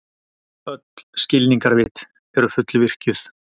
Öll skilningarvit eru fullvirkjuð.